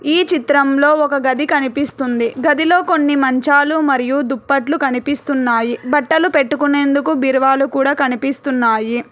ఈ చిత్రంలో ఒక గది కనిపిస్తుంది గదిలో కొన్ని మంచాలు మరియు దుప్పట్లు కనిపిస్తున్నాయి బట్టలు పెట్టుకునేందుకు బీరువాలు కూడా కనిపిస్తున్నాయి.